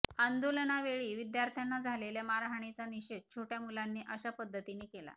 आंदोलनावेळी विद्यार्थ्यांना झालेल्या मारहाणीचा निषेध छोट्या मुलांनी अशा पद्धतीने केला